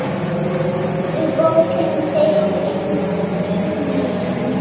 Í bókinni segir einnig